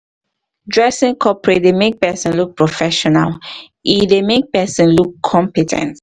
dressing coperate dey make person look professional um e dey e dey make person look compe ten t